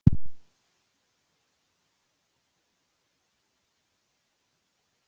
En á Sæmi von á að annar hver Íslendingur vilji nú heita rokk?